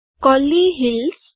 Kolli hills